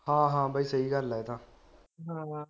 ਹਾਂ ਹਾਂ ਬਈ ਸਹੀ ਗੱਲ ਆ ਇਹ ਤਾ